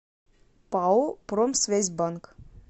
пао промсвязьбанк